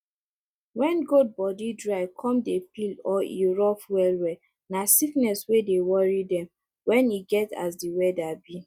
when goat body dry come dey peel or e rough well well na sickness wey dey worry dem when e get as the weather be